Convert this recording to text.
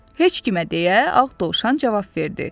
Heç kimə deyə ağ Dovşan cavab verdi.